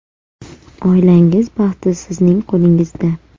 Oilangiz baxti sizning qo‘lingizda!